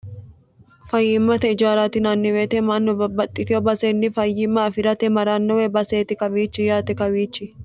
fayyimmate ijaarati yinanni weete mannu bbbaxxitiyo baseenni fayyimma afi'rate maranno woy baseeti kawiichi yaate kawiichi